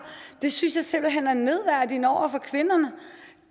det synes jeg simpelt hen er nedværdigende over for kvinderne